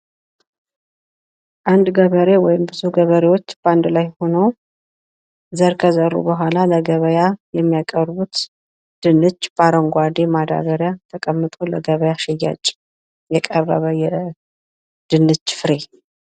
አንድ ገበሬ ወይም ብዙ ገበሬዎች በአንድላይ ሆነው ፤ ዘር ከዘሩ ቡሃላ ለገበያ የሚያቀርቡት ድንች በአረንጓዴ ማዳበሪያ ተቀምጦ ለገበያ ሽያጭ የቀረበ የድንች ፍሬ።